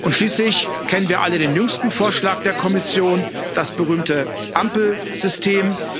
Schließlich kennen wir alle den jüngsten Vorschlag der Kommission das berühmte Ampelsystem.